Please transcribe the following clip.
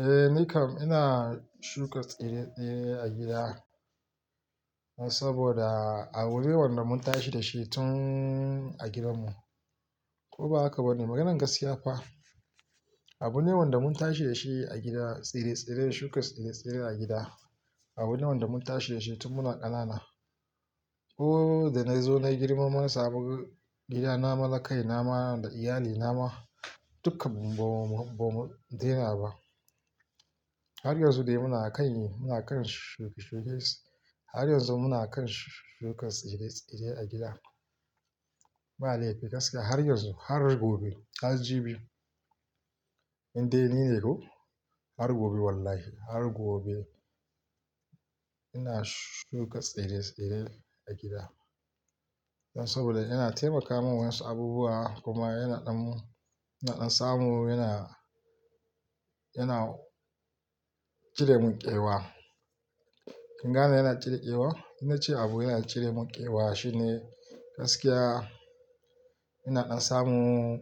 Eh nikam ina shuka tsire-tsire a gida, saboda abune wanda mun tashi da shi tun a gidanmu. Ko ba haka ba ne, maganar gaskiya kuwa, abune wanda mun tashi da shi a gida, tsire-tsire, shuka tsire-tsire a gida, abunewan da mun tashi da shi tun muna ƙanana. Ko da na zo na yi girma namu, na samu gida na na kaina ma da iyali na ma dukkan mu ma, ba mu daina ba. Har yanzu dai muna a kan yi, muna a kan shuke-shuke. Har yanzu muna a kan shuka tsire-tsire a gida. Ba laifi gaskiya har yanzu, har gobe, har jibi, in dai ni ne ko har gobe wallahi, har gobe ina shuka tsire-tsire a gida. Saboda yana taimaka min wasu abubuwa kuma yana ɗan, na samu yana, yana cire mun ƙewa. Kin gane yana cire ƙewa? Ina ce abu yana cire mun ƙewa shine gaskiya, yana ɗan samu,